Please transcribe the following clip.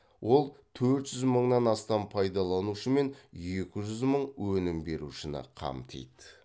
ол төрт жүз мыңнан астам пайдаланушы мен екі жүз мың өнім берушіні қамтиды